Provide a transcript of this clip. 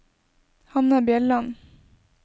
Hanne Bjelland